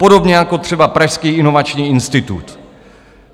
Podobně jako třeba Pražský inovační institut!